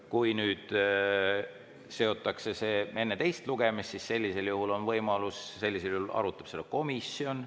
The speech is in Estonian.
Kui seotakse enne teist lugemist, siis on võimalus, et seda arutab komisjon.